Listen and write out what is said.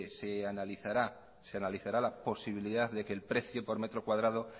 se analizará la posibilidad de que el precio por metro cuadrado